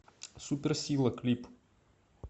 суперсила клип